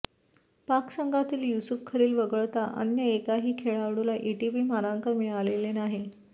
पाक संघातील युसूफ खलील वगळता अन्य एकाही खेळाडूला एटीपी मानांकन मिळालेले नाही